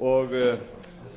og